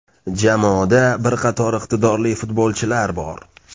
Jamoada bir qator iqtidorli futbolchilar bor.